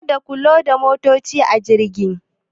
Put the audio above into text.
Ka da ku loda motaci a jirgin.